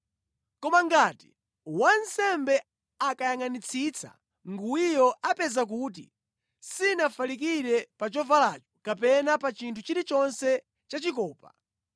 “Koma ngati wansembe akayangʼanitsitsa nguwiyo apeza kuti sinafalikire pa chovalacho kapena pa chinthu chilichonse chachikopa,